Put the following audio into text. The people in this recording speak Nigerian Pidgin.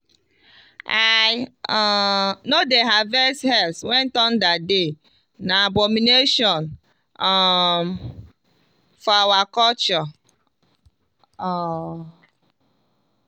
i um no dey harvest herbs when thunder dey na abomination um for our culture. um